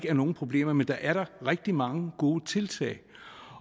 er nogen problemer men der er da rigtig mange gode tiltag